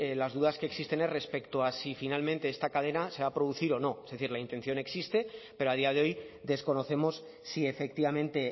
las dudas que existen es respecto a si finalmente esta cadena se va a producir o no es decir la intención existe pero a día de hoy desconocemos si efectivamente